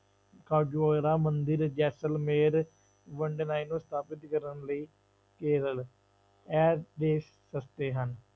ਮੰਦਿਰ, ਜੈਸ਼ਲਮੇਰ ਨੂੰ ਸਥਾਪਿਤ ਕਰਨ ਲਈ ਕੇਰਲ, ਇਹ ਦੇਸ ਸਸਤੇ ਹਨ।